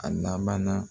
A laban na